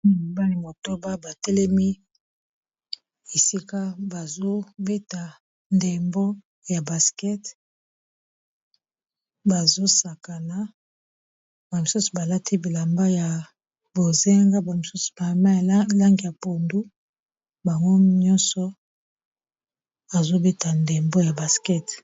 Mibali motoba batelemi esika bazobeta ndembo ya basket bazosakana ba misusu balati bilamba ya bozinga ba misusu mama elange ya pundu bango nyonso azobeta ndembo ya baskete